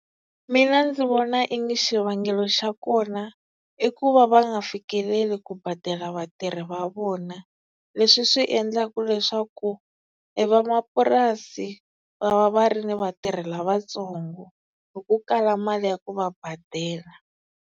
Mina ndzi vona i ngi xivangelo xa kona, i ku va va nga fikeleli ku badela vatirhi va vona, leswi swi endlaka leswaku e vamapurasi va va va ri ni vatirhi lavatsongo hi ku kala mali ya ku va badela.